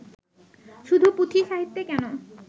শুধু পুঁথিসাহিত্যে কেন